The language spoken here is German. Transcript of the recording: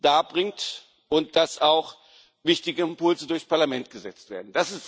darbringt und dass auch wichtige Impulse durchs Parlament gesetzt werden.